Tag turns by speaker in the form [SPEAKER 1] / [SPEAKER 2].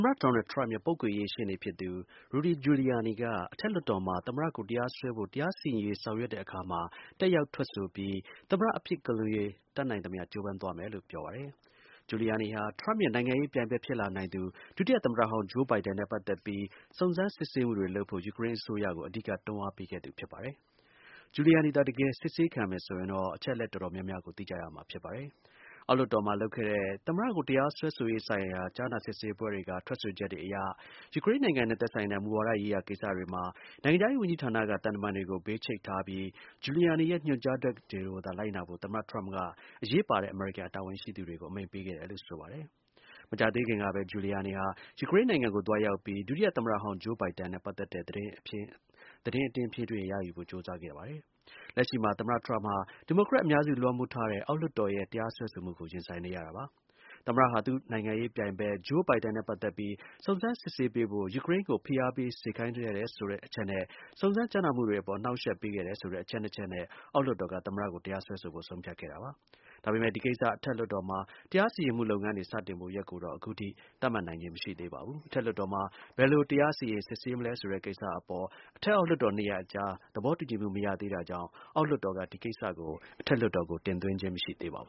[SPEAKER 1] မတ ဒေါ်နယ်ထရမ့်ရဲ့ ပုဂ္ဂိုလ်ရေး ရှေ့နေဖြစ်သူ Rudy Giuliani က အထက်လွှတ်တော်မှာ သမ္မတကို တရားစွဲဖို့ တရားစီရင်ရေး ဆောင်ရွက်တဲ့အခါမှာ တက်ရောက်ထွက်ဆိုပြီး သမ္မတ အပြစ်ကင်းလွတ်ရေး တတ်နိုင်သမျှ ကြိုးပမ်းသွားမယ်လို့ ပြောပါတယ်။ Giuliani ဟာ ထရမ့်ရဲ့ နိုင်ငံရေး ပြိုင်ဖက် ဖြစ်လာနိုင်သူ ဒုတိယ သမ္မတဟောင်း Joe Biden နဲ့ ပတ်သက်ပြီး စုံစမ်းစစ်ဆေးမှု တွေ လုပ်ဖို့ ယူကရိန်း အစိုးရကို အဓိက တွန်းအားပေးခဲ့သူပါ။ Giuliani သာ တကယ် စစ်ဆေးခံမယ်ဆိုရင်တော့ အချက်အလက် တော်တော်များများကို သိကြရမှာ ဖြစ်ပါတယ်။ အောက်လွှတ်တော်မှာ လုပ်ခဲ့တဲ့ သမ္မတကို တရားစွဲဆိုရေး ဆိုင်ရာ ကြားနာစစ်ဆေးပွဲတွေက ထွက်ဆိုချက်တွေအရ ယူကရိန်းနိုင်ငံနဲ့ သက်ဆိုင်တဲ့ မူဝါဒရေးရာ ကိစ္စတွေမှာ နိုင်ငံခြားရေး ဝန်ကြီးဌာနက သံတမန်တွေကို ဘေးချိတ်ထားပြီး Giuliani ရဲ့ညွှန်ကြားချက်တွေကိုသာ လိုက်နာဖို့ သမ္မတ ထရမ့်က အရေးပါတဲ့ အမေရိကန် တာဝန်ရှိသူတွေကို အမိန့်ပေးခဲ့တယ်လို့ ဆိုပါတယ်။ မကြာသေးခင်ကပဲ Giuliani ဟာ ယူကရိန်း နိုင်ငံကို သွားရောက်ပြီး ဒုတိယ သမ္မတဟောင်း Joe Biden နဲ့ ပတ်သက်တဲ့ သတင်း အတင်းအဖျင်းတွေ ရယူဖို့ ကြိုးစားခဲ့ပါတယ်။ လက်ရှိမှာ သမ္မတထရမ့်ဟာ ဒီမိုကရက် အများစု လွှမ်းမိုးထားတဲ့ အောက်လွှတ်တော်ရဲ့ တရားစွဲဆိုမှုကို ရင်ဆိုင်နေရပါတယ်။ သမ္မတဟာ သူ့ နိုင်ငံရေးပြိုင်ဖက် Joe Biden နဲ့ ပတ်သက်ပြီး စုံစမ်း စစ်ဆေးပေးဖို့ ယူကရိန်းကို ဖိအားပေး စေခိုင်းခဲ့တယ်ဆိုတဲ့ အချက်နဲ့ စုံစမ်း ကြားနာမှုတွေအပေါ် အနှောက်အယှက်ပေးခဲ့တယ်ဆို တဲ့ အချက် ၂ ချက်နဲ့ အောက်လွှတ်တော်က သမ္မတကို တရားစွဲဖို့ ဆုံးဖြတ်ခဲ့ တာပါ။ ဒါပေမဲ့ ဒီကိစ္စ အထက်လွှတ်တော်မှာ တရားစီရင်မှု လုပ်ငန်းတွေ စတင်ဖို့ ရက်ကိုတော့ အခုထိ သတ်မှတ်နိုင်ခြင်း မရှိသေး ပါဘူး။ အထက်လွှတ်တော်မှာ ဘယ်လို တရားစီရင် စစ်ဆေးမလဲဆိုတဲ့ ကိစ္စအပေါ် အထက်နဲ့ အောက် လွှတ်တော် ၂ ရပ် အကြား သဘောတူညီမှု မရသေးတာကြောင့် အောက်လွှတ်တော်က ဒီကိစ္စကို အထက်လွှတ်တော်ကို တင်သွင်းခြင်း မရှိသေးပါဘူ